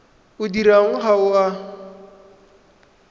o dirwang ga o a